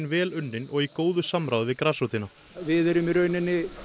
vel unninn og í góðu samráði við grasrótina við erum í rauninni